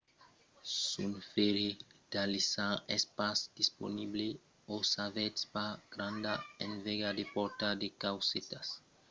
s'un fèrre d'alisar es pas disponible o s'avètz pas granda enveja de portar de caucetas alisadas alavetz podetz ensajar d'utilizar un seca-pels se n'i a un disponible